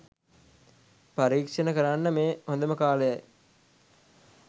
පරීක්ෂණ කරන්න මේ හොඳම කාලයයි.